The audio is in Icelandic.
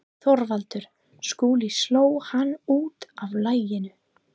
ÞORVALDUR: Skúli sló hann út af laginu.